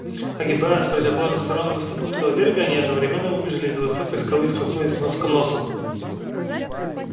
огибая с противоположных сторон выступ крутого берега они одновременно выбежали из за высокой скалы и столкнулись нос к носу